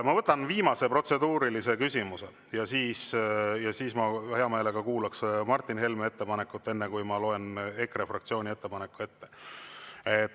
Ma võtan viimase protseduurilise küsimuse ja seejärel ma hea meelega kuulan Martin Helme ettepanekut, enne kui ma loen EKRE fraktsiooni ettepaneku ette.